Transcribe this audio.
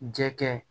Jɛgɛ